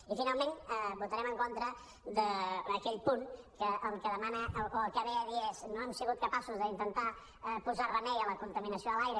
i finalment votarem en contra d’aquell punt que el que demana o el que ve a dir és no hem sigut capaços d’intentar posar remei a la contaminació de l’aire